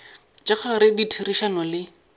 tša ka gare ditherišano le